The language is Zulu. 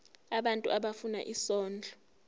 abantu abafuna isondlo